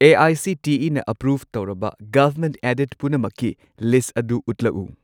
ꯑꯦ.ꯑꯥꯏ.ꯁꯤ.ꯇꯤ.ꯏ.ꯅ approve ꯇꯧꯔꯕ government aided ꯄꯨꯝꯅꯃꯛꯀꯤꯂꯤꯁꯠ ꯑꯗꯨ ꯎꯠꯂꯛꯎ꯫